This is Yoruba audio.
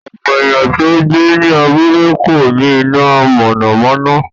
Ọ̀pọ̀ èèyàn tó ń gbé ní abúlé kò ní iná mọ̀nàmọ́ná